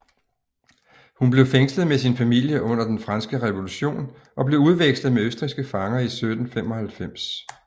Hun blev fængslet med sin familie under Den Franske Revolution og blev udvekslet med østrigske fanger i 1795